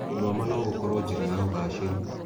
Gũthoma no gũkorwo njĩra ya ũgacĩĩru.